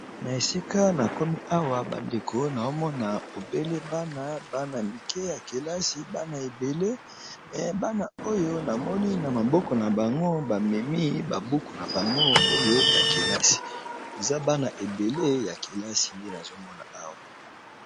Na esika na komi awa ba ndeko naomona obele bana, bana mike ya kelasi bana ebele me bana oyo namoni na maboko na bango bamemi ba buku na bango oyo ya kelasi eza bana ebele ya kelasi nde nazomona awa.